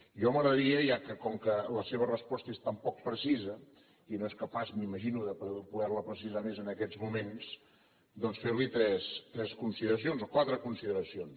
a mi m’agradaria ja que com que la seva resposta és tan poc precisa i no és capaç m’imagino de poder la precisar més en aquests moments doncs fer li tres consideracions o quatre consideracions